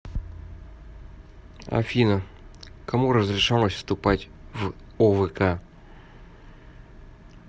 афина кому разрешалось вступать в овк